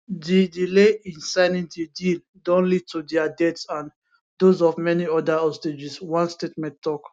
di delay in signing di deal don lead to dia deaths and dose of many oda hostages one statement tok